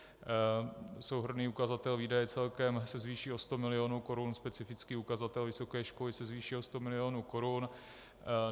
Souhrnný ukazatel výdaje celkem se zvýší o 100 milionů korun, specifický ukazatel vysoké školy se zvýší o 100 milionů korun.